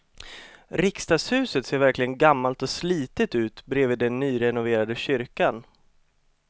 Riksdagshuset ser verkligen gammalt och slitet ut bredvid den nyrenoverade kyrkan.